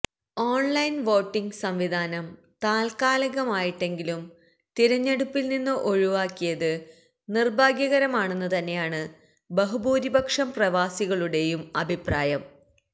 online voting സംവിധാനം താത്കാലികമായിട്ടെങ്കിലും തിരഞ്ഞെടുപ്പില് നിന്ന് ഒഴിവാക്കിയത് നിര്ഭാഗ്യകരമാണെന്ന് തന്നെയാണ് ബഹുഭൂരിഭാഗം പ്രവാസികളുടെയും അഭിപ്രായം